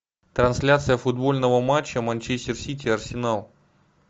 трансляция футбольного матча манчестер сити арсенал